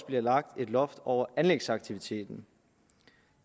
bliver lagt et loft over anlægsaktiviteten